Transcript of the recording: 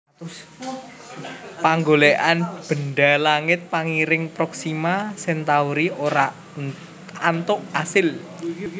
Panggolèkan bendha langit pangiring Proxima Centauri ora antuk asil